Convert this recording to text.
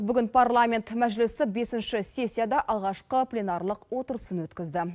бүгін парламент мәжілісі бесінші сессияда алғашқы пленарлық отырысын өткізді